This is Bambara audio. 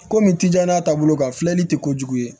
Komi tijan ta bolo kan filɛli tɛ kojugu ye